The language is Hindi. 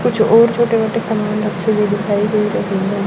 कुछ और छोटे मोटे सामान रखे हुए दिखाई दे रहे है।